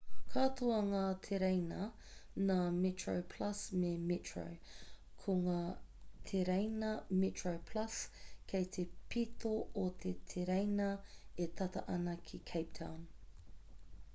katoa ngā tereina nā metroplus me metro ko ngā tereina metroplus kei te pito o te tereina e tata ana ki cape town